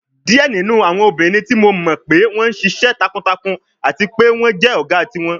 Diẹ ninu awọn obinrin ti Mo mọ pe wọn ṣiṣẹ takuntakun ati pe wọn jẹ ọga tiwọn